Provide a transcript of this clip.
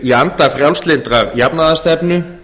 í anda frjálslyndrar jafnaðarstefnu